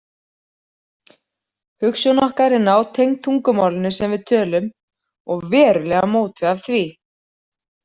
Hugsun okkar er nátengd tungumálinu sem við tölum og verulega mótuð af því.